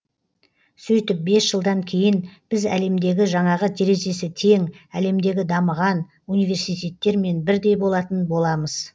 сөйтіп бес жылдан кейін біз әлемдегі жаңағы терезесі тең әлемдегі дамыған университеттермен бірдей болатын боламыз